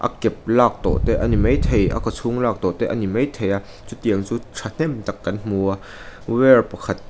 a kep lak tawh te a ni maithei a kawchhung lak tawh te a ni maithei a chutiang chu thahnem tak kan hmu a wire pakhat--